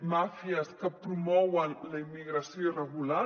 màfies que promouen la immigració irregular